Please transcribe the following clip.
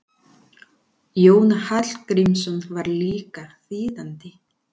Jónas Hallgrímsson var líka þýðandi.